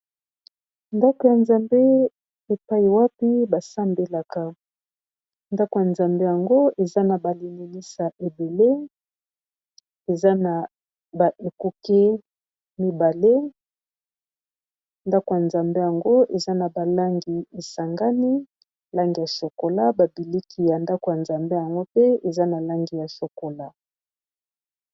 Ndaku ya Nzambe epayi wapi ba Sambelaka, ndaku yango eza na ba limonisa ébélé, eza ba ekuke mibale, ndaku ya Nzambe yango eza na ba langi e sangani, langi ya chokola, ba biliki ya ndaku ya Nzambe yango pe eza na langi ya chokola..